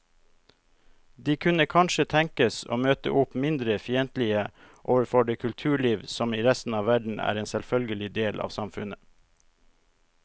De kunne kanskje tenkes å møte opp mindre fiendtlige overfor det kulturliv som i resten av verden er en selvfølgelig del av samfunnet.